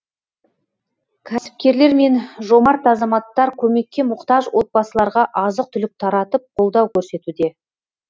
кәсіпкерлер мен жомарт азаматтар көмекке мұқтаж отбасыларға азық түлік таратып қолдау көрсетуде